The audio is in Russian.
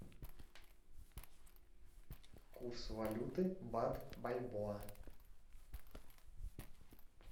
курс валюты бат бальбоа